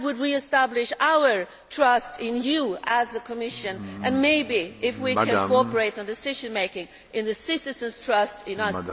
That would re establish our trust in you as a Commission, and maybe, if we can cooperate on decision making, citizens' trust in us.